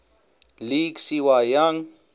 league cy young